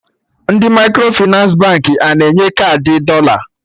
Ndị Microfịnans Baankị a na-enye kaadị dọla?